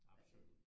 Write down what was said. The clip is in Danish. Absolut